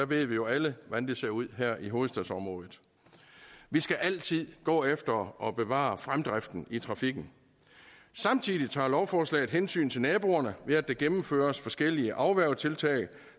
ved jo alle hvordan den ser ud i hovedstadsområdet vi skal altid gå efter at bevare fremdriften i trafikken samtidig tager lovforslaget hensyn til naboerne ved at der gennemføres forskellige afværgetiltag